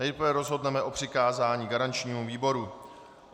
Nejprve rozhodneme o přikázání garančnímu výboru.